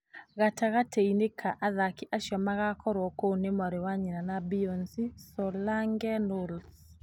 Gatagatĩ-inĩ ka athaki acio magaakorũo kũu nĩ mwarĩ wa nyina na Beyonce, Solange Knowles.